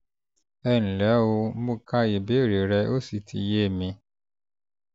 ẹ ǹlẹ́ o! mo ka ìbéèrè rẹ ó sì ti yé mi